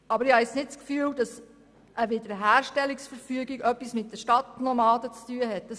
Aber ich habe nicht das Gefühl, dass eine Wiederherstellungsverfügung etwas mit den Stadtnomaden zu tun hat.